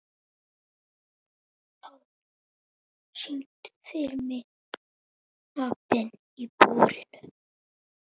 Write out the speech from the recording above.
Ráðgeir, syngdu fyrir mig „Apinn í búrinu“.